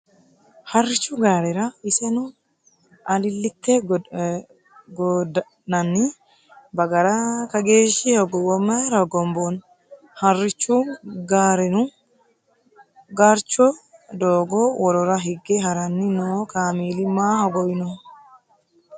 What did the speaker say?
Harrichu gaarera iseno alillite gooddi'nanni bagara kageeshshi hogowo mayra hogomboonni ? Harichu gaarennu gurcho doogo worora higge haranni no kameeli ma hogowinoho ?